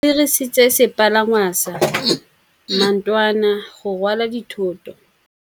Ba dirisitse sepalangwasa maotwana go rwala dithôtô.